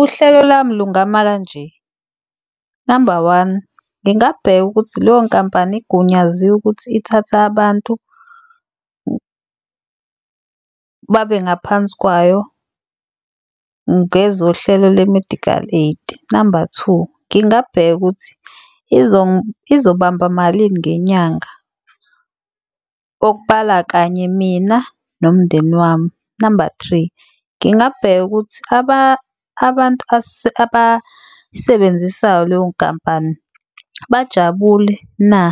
Uhlelo lami lungama kanje, namba one, ngingabheka ukuthi leyo nkampani igunyaziwe ukuthi ithathe abantu babe ngaphansi kwayo ngezohlelo le-medical aid. Namba two, ngingabheka ukuthi izobamba malini ngenyanga, okubala kanye mina nomndeni wami. Namba three, ngingabheka ukuthi abantu abasebenzisayo leyo nkampani bajabule na?